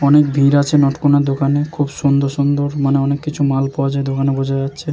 অনেক ভিড় আছে নট কোন দোকানে। খুব সুন্দর সুন্দর মানে অনেক কিছু মাল পাওয়া যায় দোকানে বোঝা যাচ্ছে।